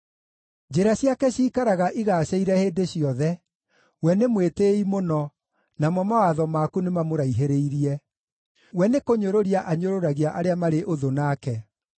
Njĩra ciake ciikaraga igaacĩire hĩndĩ ciothe; we nĩ mwĩtĩĩi mũno, namo mawatho maku nĩmamũraihĩrĩirie; we nĩkũnyũrũria anyũrũragia arĩa marĩ ũthũ nake.